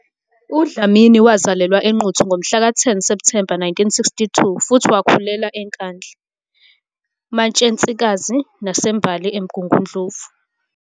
UDlamini wazalelwa eNquthu ngomhlaka 10 Septhemba 1962 futhi wakhulela eNkandla, Matshensikazi naseMbali, eMgungundlovu.